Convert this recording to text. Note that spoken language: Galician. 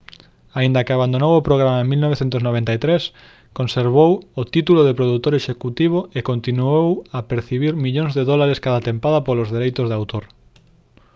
aínda que abandonou o programa en 1993 conservou o título de produtor executivo e continuou a percibir millóns de dólares cada tempada polos dereitos de autor